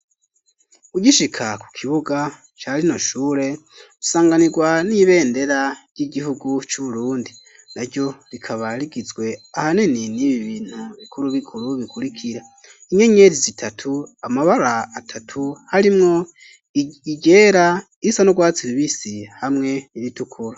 Ugishika ku kibuga, ca rino shure, usanganirwa n'ibendera, ry'igihugu c'Ubrundi; naryo rikaba rigizwe ahanini, n'ibi bintu bikuru bikuru, bikurikira: inyenyeri zitatu, amabara atatu, harimwo iryera, irisa n'urwatsi rubisi, hamwe n'iritukura.